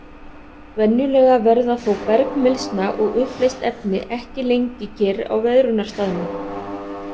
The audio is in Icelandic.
Venjulega verða þó bergmylsna og uppleyst efni ekki lengi kyrr á veðrunarstaðnum.